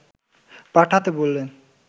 পাঠাতে বলেন